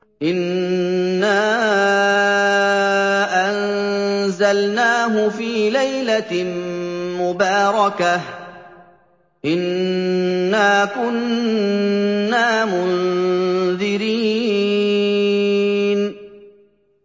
إِنَّا أَنزَلْنَاهُ فِي لَيْلَةٍ مُّبَارَكَةٍ ۚ إِنَّا كُنَّا مُنذِرِينَ